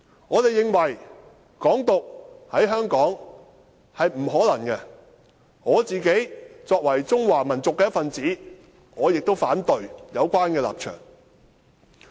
我們認為"港獨"在香港是不可能的，我作為中華民族的一分子，亦反對有關的立場。